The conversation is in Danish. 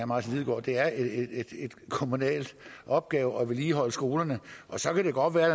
martin lidegaard det er en kommunal opgave at vedligeholde skolerne så kan det godt være